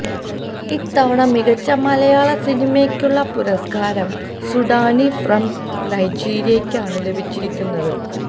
ഇത്തവണ മികച്ച മലയാള സിനിമയ്ക്കുളള പുരസ്കാരം സുഡാനി ഫ്രം നൈജീരിയയ്ക്കാണ് ലഭിച്ചിരിക്കുന്നത്